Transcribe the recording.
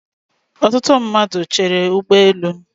Ọtụtụ mmadụ Chéré ụgbọ elu